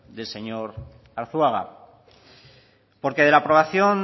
del señor arzuaga porque de la aprobación